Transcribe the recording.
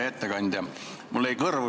Hea ettekandja!